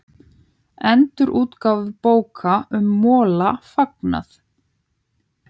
Endurútgáfu bóka um Mola fagnað